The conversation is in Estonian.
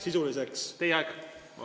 ... sisuliseks arutamiseks?